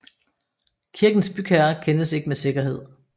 Kirkens bygherre kendes ikke med sikkerhed